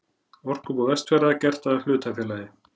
Orkubú Vestfjarða gert að hlutafélagi.